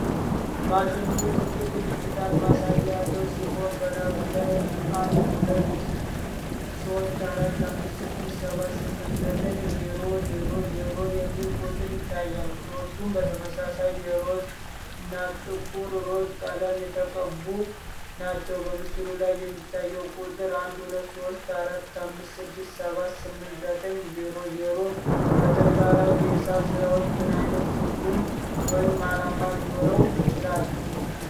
ማሽኑ ትልቅ ዲጂታል ማሳያ ያለው ሲሆን፣ በላዩ ላይ '123456789000' የሚል ቁጥር ይታያል። ቁልፎቹም በተመሳሳይ የሮዝ እና ጥቁር ሮዝ ቀለም የተቀቡ ናቸው። በምስሉ ላይ የሚታየው ቁጥር '123456789000' በተግባራዊ የሂሳብ ስራዎች ምን ዓይነት ትርጉም ወይም ዓላማ ሊኖረው ይችላል?